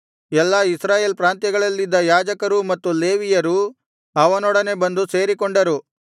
ಎಲ್ಲಾ ಇಸ್ರಾಯೇಲ್ ಪ್ರಾಂತ್ಯಗಳಲ್ಲಿದ್ದ ಯಾಜಕರೂ ಮತ್ತು ಲೇವಿಯರೂ ಅವನೊಡನೆ ಬಂದು ಸೇರಿಕೊಂಡರು